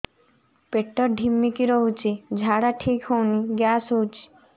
ପେଟ ଢିମିକି ରହୁଛି ଝାଡା ଠିକ୍ ହଉନି ଗ୍ୟାସ ହଉଚି